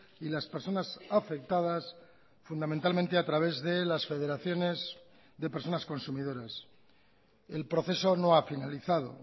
y las personas afectadas fundamentalmente a través de las federaciones de personas consumidoras el proceso no ha finalizado